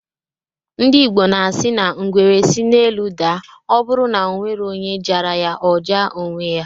Ndi Ịgbo na-asi na ngwere si n'elu daa, ọ bụrụ na ọnwerọ onye jara ya,ọ jaa onwe ya.